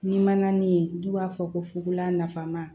Ni mankan ni yen n'u b'a fɔ ko fukolan nafama